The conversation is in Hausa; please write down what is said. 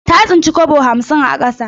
Ta tsinci kwabo hamsin a ƙasa.